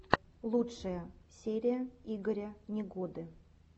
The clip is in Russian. лучшая серия игоря негоды